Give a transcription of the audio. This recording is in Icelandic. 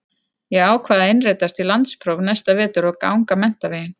Ég ákvað að innritast í landspróf næsta vetur og ganga menntaveginn.